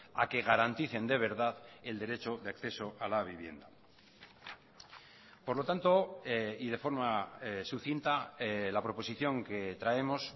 a que garanticen de verdad el derecho de acceso a la vivienda por lo tanto y de forma sucinta la proposición que traemos